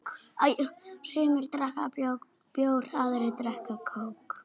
Sumir drekka bjór, aðrir kók.